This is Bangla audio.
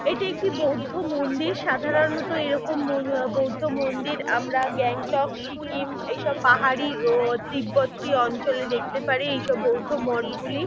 এটি একটি বৌদ্ধ মন্দির। সাধারণত এরকম ম বৌদ্ধ মন্দির আমরা গ্যাংটক সিকিম এসব পাহাড়ি তিব্বতি অঞ্চলে দেখতে পারি এইসব বৌদ্ধমঠ গুলি।